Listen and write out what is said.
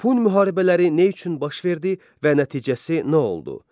Pun müharibələri nə üçün baş verdi və nəticəsi nə oldu?